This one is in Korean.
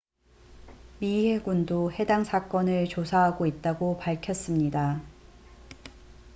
미 해군도 해당 사건을 조사하고 있다고 밝혓습니다